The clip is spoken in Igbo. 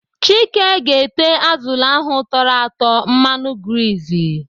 Chike ga-ete azụlụ ahụ tọrọ atọ mmanụ grizi.